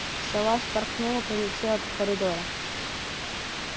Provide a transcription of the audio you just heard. сова вспорхнула полетела по коридору